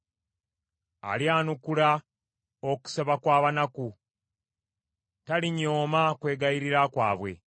Alyanukula okusaba kw’abanaku; talinyooma kwegayirira kwabwe.